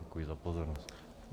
Děkuji za pozornost.